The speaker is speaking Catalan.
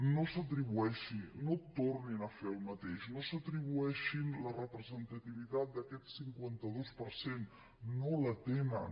no s’atribueixi no tornin a fer el mateix no s’atribueixin la representativitat d’aquest cinquanta dos per cent no la tenen